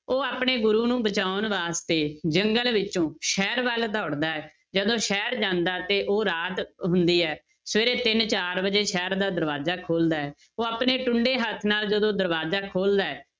ਉਹ ਆਪਣੇ ਗੁਰੂ ਨੂੰ ਬਚਾਉਣ ਵਾਸਤੇ ਜੰਗਲ ਵਿੱਚੋਂ ਸ਼ਹਿਰ ਵੱਲ ਦੋੜਦਾ ਹੈ, ਜਦੋਂ ਸ਼ਹਿਰ ਜਾਂਦਾ ਤੇ ਉਹ ਰਾਤ ਹੁੰਦੀ ਹੈ, ਸਵੇਰੇ ਤਿੰਨ ਚਾਰ ਵਜੇ ਸ਼ਹਿਰ ਦਾ ਦਰਵਾਜ਼ਾ ਖੋਲਦਾ ਹੈ, ਉਹ ਆਪਣੇ ਟੁੰਡੇ ਹੱਥ ਨਾਲ ਜਦੋਂ ਦਰਵਾਜ਼ਾ ਖੋਲਦਾ ਹੈ